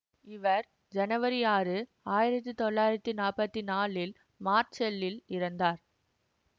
இவர் ஜனவரி ஆறு ஆயிரத்தி தொள்ளாயிரத்தி நாற்பத்தி நான்கில் மார்செல்லில் இறந்தார்